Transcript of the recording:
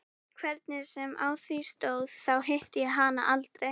Hvernig sem á því stóð, þá hitti ég hana aldrei